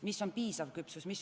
Mis on piisav küpsus?